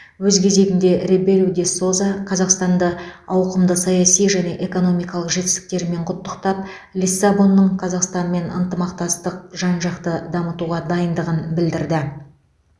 өз кезегінде ребелу де соза қазақстанды ауқымды саяси және экономикалық жетістіктерімен құттықтап лиссабонның қазақстанмен ынтымақтастықты жан жақты дамытуға дайындығын білдірді